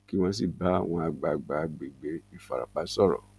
kí wọn sì bá àwọn àgbààgbà àgbègbè ìfarapa sọrọ